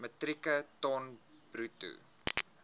metrieke ton bruto